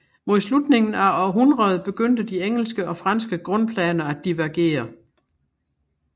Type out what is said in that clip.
Mod slutningen af århundredet begyndte de engelske og franske grundplaner at divergere